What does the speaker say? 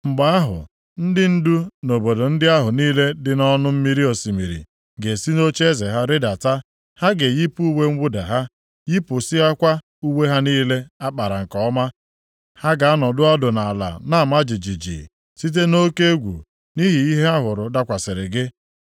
Mgbe ahụ, ndị ndu nʼobodo ndị ahụ niile dị nʼọnụ mmiri osimiri ga-esi nʼocheeze ha rịdata. Ha ga-eyipụ uwe mwụda ha, yipụsịakwa uwe ha niile a kpara nke ọma. Ha ga-anọdụ ọdụ nʼala na-ama jijiji site nʼoke egwu nʼihi ihe ha hụrụ dakwasịrị gị.